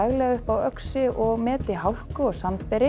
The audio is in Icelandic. upp á Öxi og meti hálku og